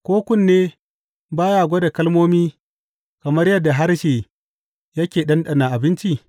Ko kunne ba ya gwada kalmomi kamar yadda harshe yake ɗanɗana abinci?